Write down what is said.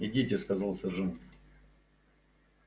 идите сказал сержант